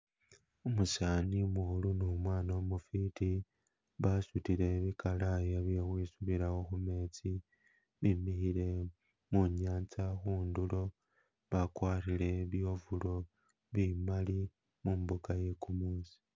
Umusana umukhulu ne umwana umufiti basutile bikalaya bye khukhwisubila khumetsi bimikhile munyanza khundulo, bakwarire bi ovulo bimali mumbuka iye kumuusi.